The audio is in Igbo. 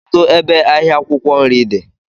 Kedụ ebe ahịa akwụkwọ nri dị?